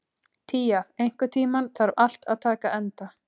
Tía, einhvern tímann þarf allt að taka enda.